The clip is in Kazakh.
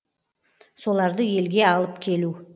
соларды елге алып келу